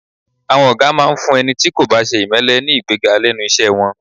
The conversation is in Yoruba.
À̀wọn ọ̀gá máa ń fún ẹni tí kò bá ṣe ìmẹ́lẹ́ ní ìgbéga lẹ́nu iṣẹ́ wọn